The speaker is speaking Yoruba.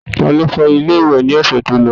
Ta ló fọ ilé ìwẹ̀ ní ọ̀sẹ̀ tó kọjá?